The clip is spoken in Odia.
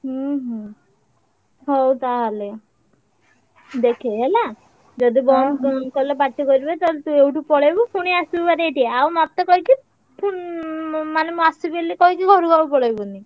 ହୁଁ ହୁଁ ହଉ ତାହେଲେ ଦେଖେ ହେଲା ଯଦି ବନ୍ଦ କଲେ ପାଟି କରିବେ ତାହେଲେ ତୁ ଏଇଠୁ ପଳେଇବୁ ପୁଣି ଆସିବୁ ଭାରି ଏଇଠି ଆଉ ମତେ କହିକି ପୁ~ ଉଁ ମାନେ ମୁଁ ଆସିବି ବୋଲି କହିକି ଘରୁକୁ ଆଉ ପଳେଇବୁନି।